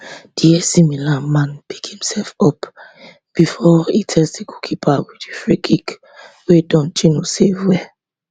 di ac milan man pick imsef up before e test di goalkeeper wit di freekick wey dondjinou save well